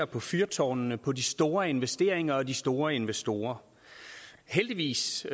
på fyrtårnene på de store investeringer og de store investorer heldigvis